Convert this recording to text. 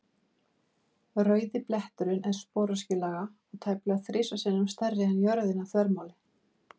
Rauði bletturinn er sporöskjulaga og tæplega þrisvar sinnum stærri en jörðin að þvermáli.